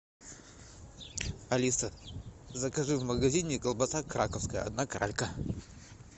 алиса закажи в магазине колбаса краковская одна кралька